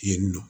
Yen nɔ